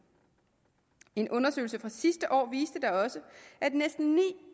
en undersøgelse fra sidste år viste da også at næsten ni